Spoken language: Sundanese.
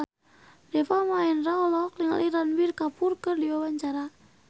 Deva Mahendra olohok ningali Ranbir Kapoor keur diwawancara